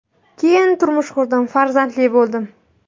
Keyin turmush qurdim, farzandli bo‘ldim.